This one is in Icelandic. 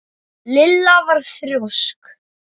Lilla var þrjósk.